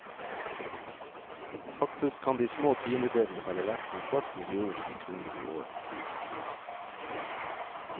Faktisk kan de små tiendedelene være verdt en kvart million kroner i året.